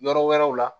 Yɔrɔ wɛrɛw la